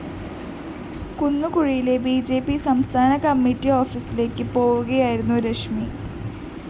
കുന്നുകുഴിയിലെ B J P സംസ്ഥാന committee ഓഫീസിലേക്ക് പോവുകയായിരുന്നു രശ്മി